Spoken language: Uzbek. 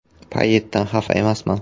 Payetdan xafa emasman.